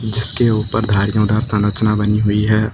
जिसके ऊपर धारीयोधार संरचना बनी हुई है।